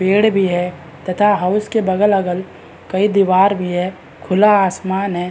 पेड़ भी है तथा हाउस के बगल-अगल कई दीवार भी है खुला आसमान है।